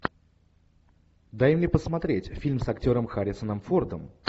дай мне посмотреть фильм с актером харрисоном фордом